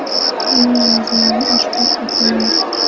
Uning mazmuni oshkor etilmayapti.